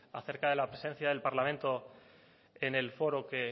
acerca de la presencia del parlamento en el foro que